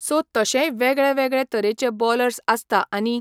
so तशेय वेगळे वेगळे तरेचे बॉलर्स आसता आनी